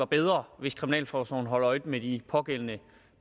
bedre hvis kriminalforsorgen holder øje med de pågældende